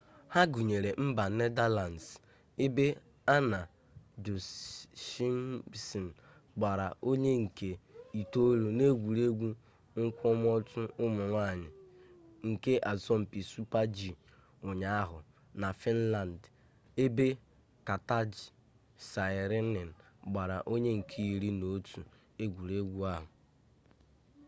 ha gụnyere mba nedalands ebe anna jochemsen gbara onye nke itoolu n'egwuregwu nkwụmọtọ ụmụ nwanyị nke asọmpi super-g ụnyaahụ na fịnland ebe katja saarinen gbara onye nke iri n'otu egwuregwu ahụ